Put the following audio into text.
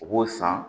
U b'o san